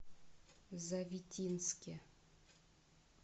завитинске